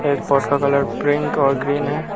एक पॉट का colour pink और ग्रीन है।